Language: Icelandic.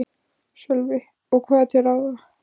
Sölvi: Og hvað er til ráða?